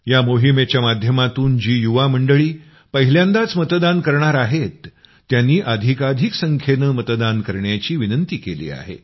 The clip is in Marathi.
या मोहिमेच्या माध्यमातून जी युवामंडळी पहिल्यांदाच मतदान करणार आहेत त्यांनी अधिकाधिक संख्येनं मतदान करण्याची विनंती केली आहे